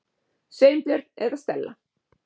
Sveinbjörn eða Stella.